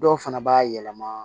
Dɔw fana b'a yɛlɛma